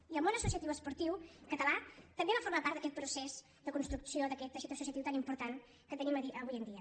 i el món associatiu esportiu català també va formar part d’aquest procés de construcció d’aquest teixit associatiu tan important que tenim avui en dia